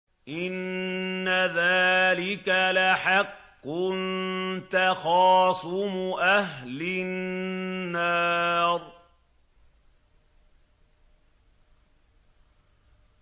إِنَّ ذَٰلِكَ لَحَقٌّ تَخَاصُمُ أَهْلِ النَّارِ